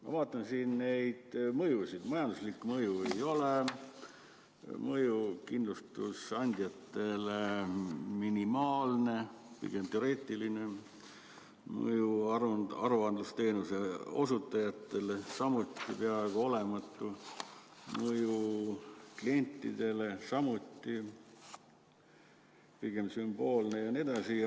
Ma vaatan neid mõjusid: majanduslikku mõju ei ole, mõju kindlustusandjatele on minimaalne, pigem teoreetiline, mõju aruandlusteenuse osutajatele on samuti peaaegu olematu, mõju klientidele on samuti pigem sümboolne jne.